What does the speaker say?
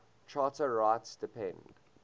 charter rights depend